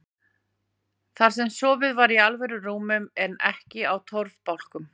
Þar sem sofið var í alvöru rúmum en ekki á torfbálkum.